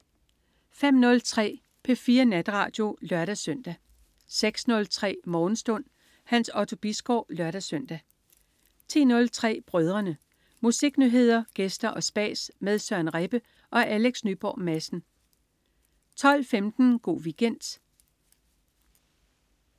05.03 P4 Natradio (lør-søn) 06.03 Morgenstund. Hans Otto Bisgaard (lør-søn) 10.03 Brødrene. Musiknyheder, gæster og spas med Søren Rebbe og Alex Nyborg Madsen 12.15 Go' Weekend